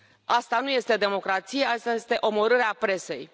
Asta nu este democrație, asta e omorârea presei.